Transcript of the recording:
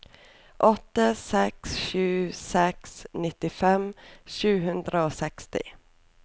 åtte seks sju seks nittifem sju hundre og seksti